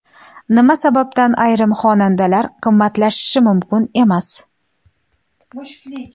Nima sababdan ayrim xonadonlar qimmatlashishi mumkin emas.